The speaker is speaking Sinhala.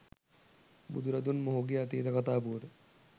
බුදුරදුන් මොහුගේ අතීත කතා පුවත